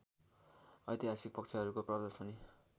ऐतिहासिक पक्षहरूको प्रदर्शनी